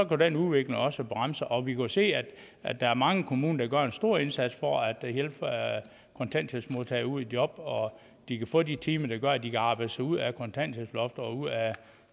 kunne den udvikling også bremses og vi kan se at der er mange kommuner der gør en stor indsats for at hjælpe kontanthjælpsmodtagere i job og at de kan få de timer der gør at de kan arbejde sig ud af kontanthjælpsloftet og ud af